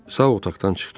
Sao otaqdan çıxdı.